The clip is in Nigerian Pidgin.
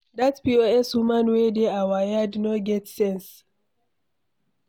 Dat POS woman wey dey our yard no get sense.